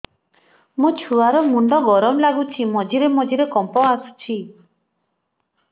ମୋ ଛୁଆ ର ମୁଣ୍ଡ ଗରମ ଲାଗୁଚି ମଝିରେ ମଝିରେ କମ୍ପ ଆସୁଛି